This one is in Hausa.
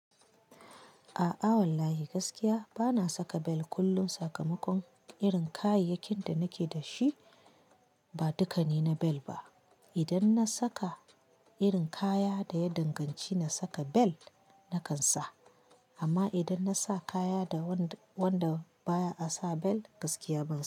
A'a wallahi gaskiya bana saka bel. Kullum sakamakon irin kayayyakin da nake da shi, ba dukane na bel ba. Idan na saka irin kaya da ya danganci na saka bel, na kan sa. Amma idan na sa kaya da wanda baya a sa bel, gaskiya ban sa wa.